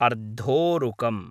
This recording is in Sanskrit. अर्धोरुकम्